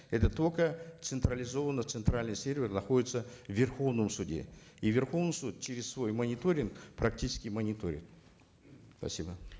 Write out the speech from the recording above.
это только централизованно центральный сервер находится в верховном суде и верховный суд через свой мониторинг практически мониторит спасибо